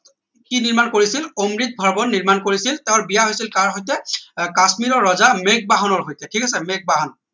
কি নিৰ্মাণ কৰিছিল অমৃত ভৱন নিৰ্মাণ কৰিছিল তাৰ বিয়া হৈছিল কাৰ সৈতে কাশ্মীৰৰ ৰজা মেঘ বাহনৰ সৈতে ঠিক আছে মেঘ বাহন